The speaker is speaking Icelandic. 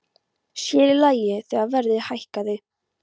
Sér í lagi þegar verðið hækkaði.